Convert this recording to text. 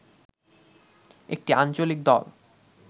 একটি আঞ্চলিক দল